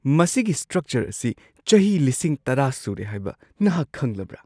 ꯃꯁꯤꯒꯤ ꯁ꯭ꯇ꯭ꯔꯛꯆꯔ ꯑꯁꯤ ꯆꯍꯤ ꯱꯰,꯰꯰꯰ ꯁꯨꯔꯦ ꯍꯥꯏꯕ ꯅꯍꯥꯛ ꯈꯪꯂꯕ꯭ꯔꯥ?